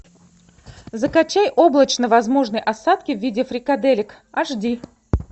закачай облачно возможны осадки в виде фрикаделек аш ди